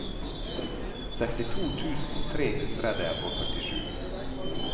sekstito tusen tre hundre og førtisju